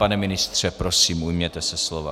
Pane ministře, prosím, ujměte se slova.